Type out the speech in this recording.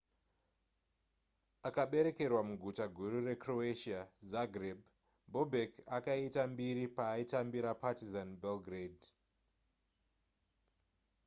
akaberekerwa muguta guru recroatian zagreb bobek akaita mbiri paaitambira partizan belgrade